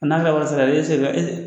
A n'a ka wari